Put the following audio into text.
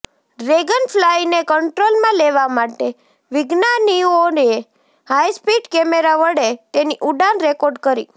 ડ્રેગનફ્લાયને કન્ટ્રોલમાં લેવા માટે વિજ્ઞાાનીઓએ હાઈસ્પીડ કેમેરા વડે તેની ઉડાન રેકોર્ડ કરી